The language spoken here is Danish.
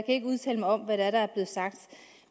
ikke udtale mig om hvad det er der er blevet sagt